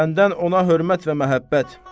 Məndən ona hörmət və məhəbbət.